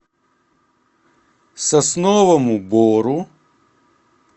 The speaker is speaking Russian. сосновому бору